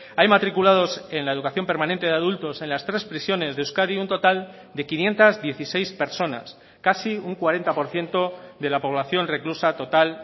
hay matriculados en la educación permanente de adultos en las tres prisiones de euskadi un total de quinientos dieciséis personas casi un cuarenta por ciento de la población reclusa total